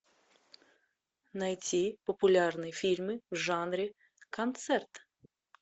найти популярные фильмы в жанре концерт